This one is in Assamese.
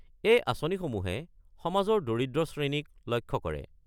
এই আঁচনিসমূহে সমাজৰ দৰিদ্ৰ শ্ৰেণীক লক্ষ্য কৰে।